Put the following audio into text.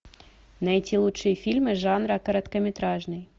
найти лучшие фильмы жанра короткометражный